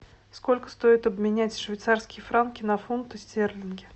сколько стоит обменять швейцарские франки на фунты стерлинги